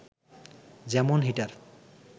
যেমন হিটার